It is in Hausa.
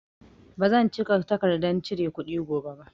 Ba zan cika takardan cire kuɗi gobe ba